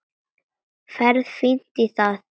Ferð fínt í það.